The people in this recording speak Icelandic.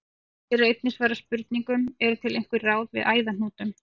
Hér er einnig svarað spurningunum: Eru til einhver ráð við æðahnútum?